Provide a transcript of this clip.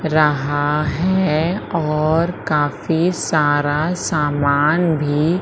रहा है और काफी सारा सामान भी--